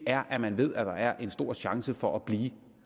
er at man ved at der er en stor chance for at blive